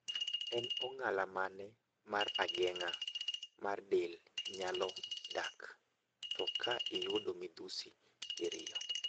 En ong'ala mane mar ageng'a mar del nyalo dak, to ka inyalo yudo midhusi diriyo